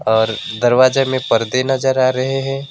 और दरवाजे में पर्दे नजर आ रहे हैं।